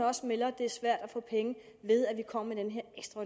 også melder at det er svært at få penge ved at vi kommer